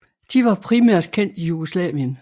De var primært kendt i Jugoslavien